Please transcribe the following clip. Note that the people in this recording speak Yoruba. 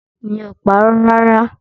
Mi ò parọ́ rárá!